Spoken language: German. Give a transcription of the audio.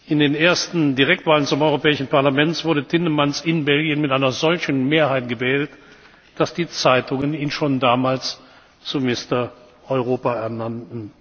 In den ersten Direktwahlen zum Europäischen Parlament wurde Tindemans in Belgien mit einer solchen Mehrheit gewählt, dass die Zeitungen ihn schon damals zum Mister Europa ernannten.